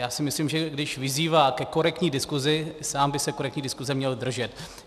Já si myslím, že když vyzývá ke korektní diskusi, sám by se korektní diskuse měl držet.